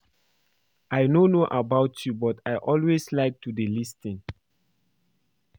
I no know about you but I always like to dey lis ten